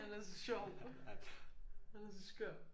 Han er så sjov. Han er så skør